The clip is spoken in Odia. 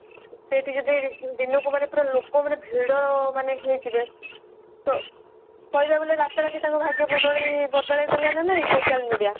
ସେଇଠି ଯଦି ଦିନକୁ ମାନେ ପୁରା ଲୋକ ମାନେ ଭିଡ ମାନେ ହେଇଯିବେ ତ କହିବାକୁ ଗଲେ ରାତା ରାତି ତାଙ୍କ ଭାଗ୍ୟ ବଦଳେଇ ଦେଲା ନା ନାଇଁ social media